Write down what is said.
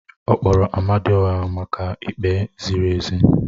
Ọ kpọkuru Amadioha maka ikpe ziri ezi